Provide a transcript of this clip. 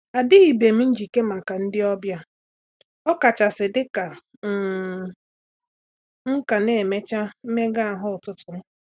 A dị beghi m njike maka ndị ọbịa, ọ kachasị dịka um m ka na emecha mmega ahụ ụtụtụ m